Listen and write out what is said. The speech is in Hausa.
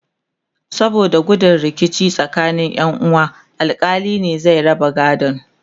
saboda gudun rikici tsakanin Ƴan uwa alkali ne zai raba gadon